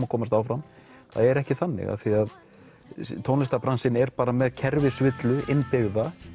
að komast áfram það er ekki þannig af því að tónlistarbransinn er með kerfisvillu innbyggða